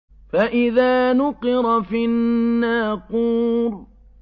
فَإِذَا نُقِرَ فِي النَّاقُورِ